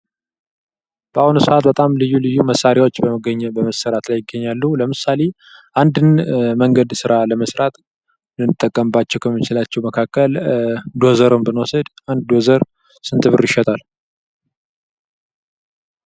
በአሁን ሰዓት በጣም ልዩ ልዩ መሣሪያዎች በመገኘት በመስራት ላይ ይገኛሉ፤ ለምሳሌ አንድን መንገድ ሥራ ለመሥራት ልንጠቀምባቸዉ ከምንችላቸው መካከል ዶዘርን ብንወስድ ። አንድ ዶዘር ስንት ብር ይሸጣል?